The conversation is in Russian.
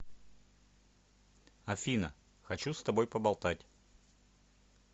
афина хочу с тобой поболтать